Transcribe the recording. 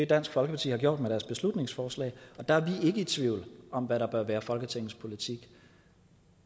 dansk folkeparti har gjort med deres beslutningsforslag og der er vi ikke i tvivl om hvad der bør være folketingets politik